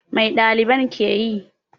Mai ɗaliban ke yi?